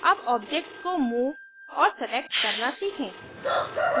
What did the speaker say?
अब objects को move और select करना सीखें